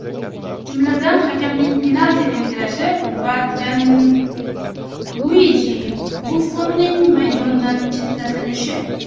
Jumladan, hakamning penalti belgilashi va Janluiji Buffonnning maydondan chetlatilishi.